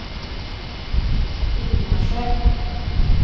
Ingmarsö